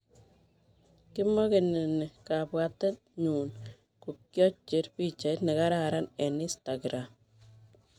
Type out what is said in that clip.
"Kimogeni ni ,kabwate nyun kokiocher pichait nekararan eng Instagram.